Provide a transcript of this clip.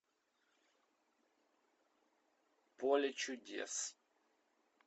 поле чудес